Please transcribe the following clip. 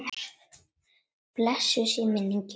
Blessuð sé minning Jóns Mars.